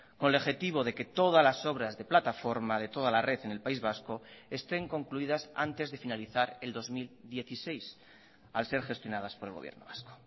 con el objetivo de que todas las obras de plataforma de toda la red en el país vasco estén concluidas antes de finalizar el dos mil dieciséis al ser gestionadas por el gobierno vasco